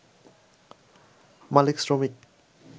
মালিক-শ্রমিক